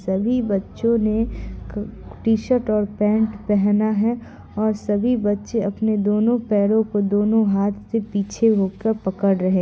सभी बच्चों ने क टी-शर्ट और पेंट पहना है और सभी बच्चे अपने दोनों पैरों को दोनों हाथ से पीछे होकर पकड़ रहे---